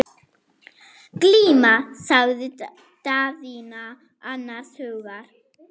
Glíma, sagði Daðína annars hugar.